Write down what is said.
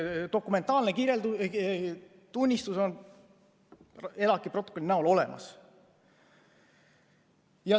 Dokumentaalne tunnistus on ELAK-i protokollina olemas.